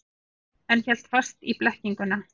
En hélt fast í blekkinguna.